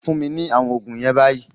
Fún mi ní àwọn oògùn yen bayi